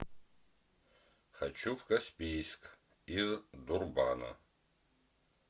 хочу в каспийск из дурбана